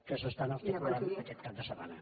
que s’estan articulant aquest cap de setmana